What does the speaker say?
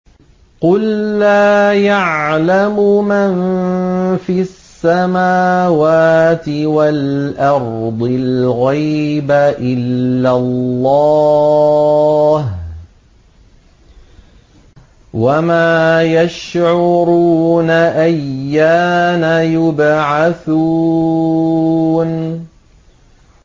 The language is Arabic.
قُل لَّا يَعْلَمُ مَن فِي السَّمَاوَاتِ وَالْأَرْضِ الْغَيْبَ إِلَّا اللَّهُ ۚ وَمَا يَشْعُرُونَ أَيَّانَ يُبْعَثُونَ